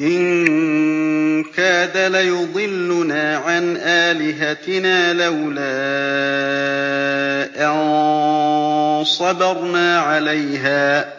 إِن كَادَ لَيُضِلُّنَا عَنْ آلِهَتِنَا لَوْلَا أَن صَبَرْنَا عَلَيْهَا ۚ